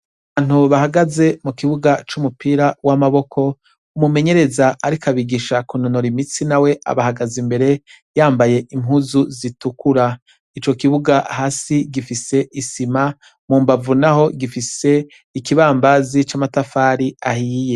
Abantu bahagaze mu kibuga c'umupira w'amaboko, umumenyereza ariko abigisha kunonora imitsi na we abahagaze imbere yambaye impuzu zitukura, ico kibuga hasi gifise isima, mu mbavu naho gifise ikibambazi c'amatafari ahiye.